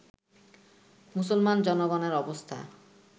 মুসলমান জনগণের অবস্থা